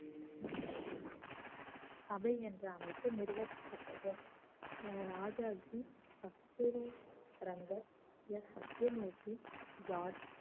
சபை என்ற அமைப்பு நிறுவப்பட்டது ராஜாஜி கஸ்தூரி ரங்கர் எஸ் சத்யமூர்த்தி ஜார்ஜ்